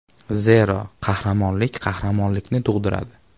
Zero, qahramonlik qahramonlikni tug‘diradi.